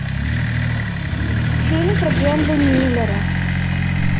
фильм про генри миллера